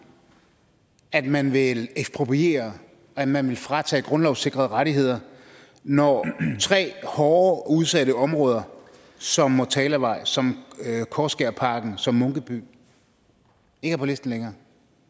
at man vil ekspropriere at man vil fratage grundlovssikrede rettigheder når tre hårde udsatte områder som motalavej som korskærparken som munkebo ikke er på listen længere